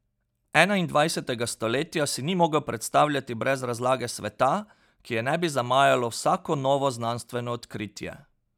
Enaindvajsetega stoletja si ni mogel predstavljati brez razlage sveta, ki je ne bi zamajalo vsako novo znanstveno odkritje.